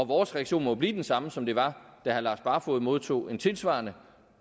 vores reaktion må jo blive den samme som den var da herre lars barfoed modtog en tilsvarende